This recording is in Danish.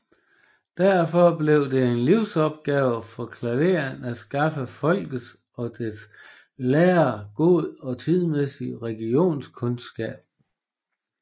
Derfor blev det en livsopgave for Klaveness at skaffe folket og dets lærere god og tidsmæssig religionskundskab